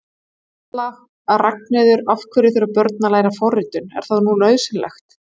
Erla: Ragnheiður, af hverju þurfa börn að læra forritun, er það nú nauðsynlegt?